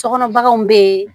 Sokɔnɔ baganw bɛ yen